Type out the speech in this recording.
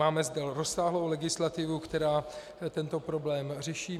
Máme zde rozsáhlou legislativu, která tento problém řeší.